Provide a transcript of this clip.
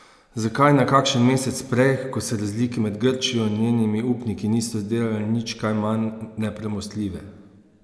Zakaj ne kakšen mesec prej, ko se razlike med Grčijo in njenimi upniki niso zdele nič kaj manj nepremostljive?